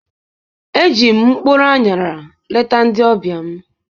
Eji m mkpụrụ aṅara leta ndị ọbịa m.